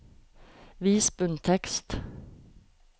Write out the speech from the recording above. Vis bunntekst